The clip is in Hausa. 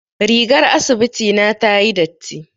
Rigar asibiti na tayi datti.